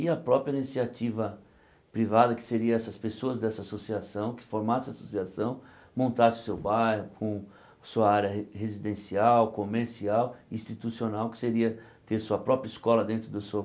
E a própria iniciativa privada, que seria essas pessoas dessa associação, que formasse a associação, montasse o seu bairro com sua área re residencial, comercial, institucional, que seria ter sua própria escola dentro da sua